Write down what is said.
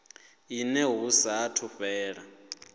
une hu sa athu fhela